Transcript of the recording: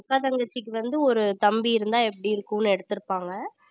அக்கா தங்கச்சிக்கு வந்து ஒரு தம்பி இருந்தா எப்படி இருக்கும்னு எடுத்திருப்பாங்க